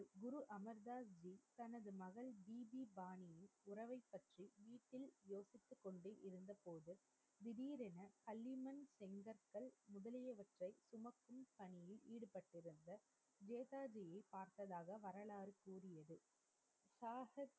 சாசிப்,